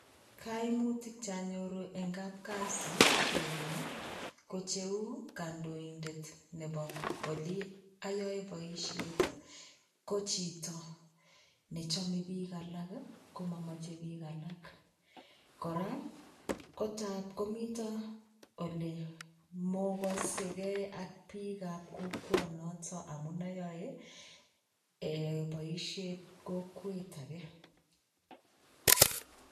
Kaimutiik che anyoruu en kapkazi ko tuguuk che uu kandoindet nebo oliin ayaen boisiet ii ko chiito ne chame biik alaak ii kochame biik alaak kora kotaab komitaa mokase kei ak biik ab kokweet noton amuun ayae eh boisiet kokwet age.